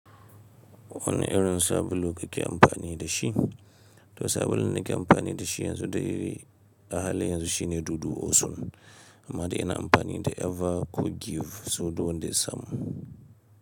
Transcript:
Wane irin sabulu kake amfani da shi? To sabulun da ke amfani da shi yanzu dai a halin yanzu shine dudu osun amma dai ina amfani da Eva ko Giv so duk dai wanda ya samu.